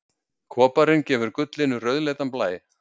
Koparinn gefur gullinu rauðleitan blæ.